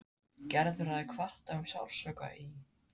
Gerður hafði kvartað um sársauka í.